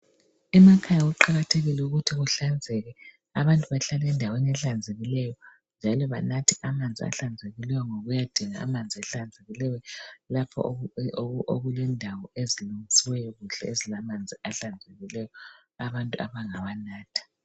Emakhaya kuqakathekile ukuthi kuhlanzeke abantu bahlale endaweni ehlanzekileyo njalo banathe amanzi ahlanzekileyo ngokuyadinga amanzi ahlanzekileyo lapho okulendawo ezilungisiweyo kuhlezi lamanzi ahlanzekileyo abantu abangawanatha.